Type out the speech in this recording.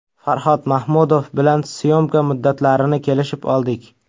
Farhod Mahmudov bilan syomka muddatlarini kelishib oldik.